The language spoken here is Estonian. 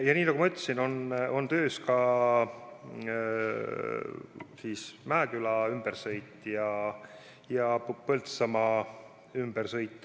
Ja nii nagu ma ütlesin, on töös ka Mäeküla ümbersõit ja Põltsamaa ümbersõit.